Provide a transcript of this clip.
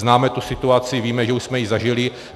Známe tu situaci, víme, že už jsme ji zažili.